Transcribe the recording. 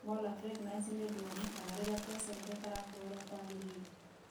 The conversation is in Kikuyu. Molar pregnancy nĩ ũndũ wonekaga rĩrĩa placenta ĩtarakũra ũrĩa kwagĩrĩire.